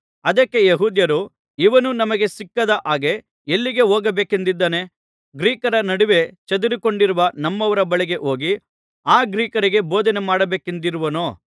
ಅದಕ್ಕೆ ಯೆಹೂದ್ಯರು ಇವನು ನಮಗೆ ಸಿಕ್ಕದ ಹಾಗೆ ಎಲ್ಲಿ ಹೋಗಬೇಕೆಂದಿದ್ದಾನೆ ಗ್ರೀಕರ ನಡುವೆ ಚದುರಿಕೊಂಡಿರುವ ನಮ್ಮವರ ಬಳಿಗೆ ಹೋಗಿ ಆ ಗ್ರೀಕರಿಗೆ ಬೋಧನೆ ಮಾಡಬೇಕೆಂದಿರುವನೋ